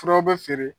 Furaw bɛ feere